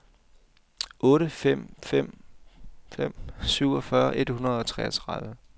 otte fem fem fem syvogfyrre et hundrede og treogtredive